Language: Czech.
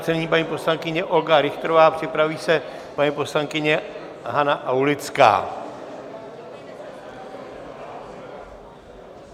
Nyní paní poslankyně Olga Richterová, připraví se paní poslankyně Hana Aulická.